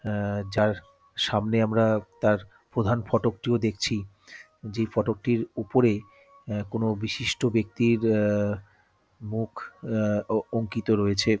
আহ যার সামনে আমরা তার প্রধান ফটকটিও দেখছি যে ফটকটির উপরে আহ কোন বিশিষ্ট ব্যাক্তির আহ মুখ আহ অঙ্কিত রয়েছে।